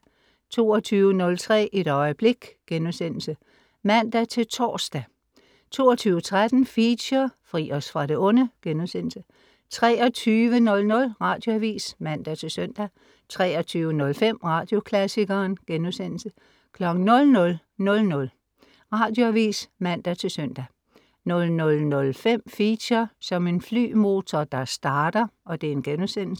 22.03 Et øjeblik* (man-tors) 22.13 Feature: Fri os fra det onde* 23.00 Radioavis (man-søn) 23.05 Radioklassikeren* 00.00 Radioavis (man-søn) 00.05 Feature: Som en flymotor der starter*